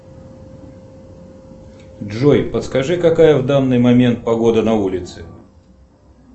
джой подскажи какая в данный момент погода на улице